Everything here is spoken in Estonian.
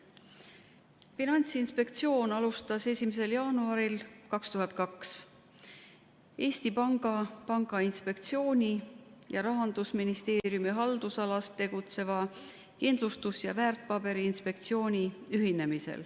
Finantsinspektsioon alustas tegevust 1. jaanuaril 2002, kui ühinesid Eesti Panga Pangainspektsioon ja Rahandusministeeriumi haldusalas tegutsenud Kindlustus- ja Väärtpaberiinspektsioon.